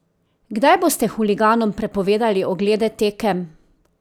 Kdaj boste huliganom prepovedali oglede tekem?